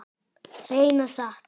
Hreina satt.